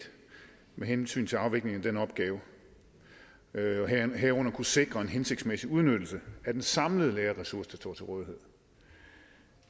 med hensyn til afvikling af den opgave og herunder at kunne sikre en hensigtsmæssig udnyttelse af den samlede lærerressource der står til rådighed